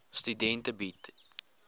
studente bied